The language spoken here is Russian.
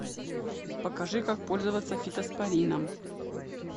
покажи как пользоваться фитоспорином